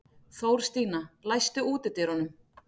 Þórstína, læstu útidyrunum.